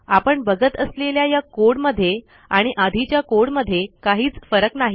आपण बघत असलेल्या या कोड मध्ये आणि आधीच्या कोड मध्ये काहीच फरक नाही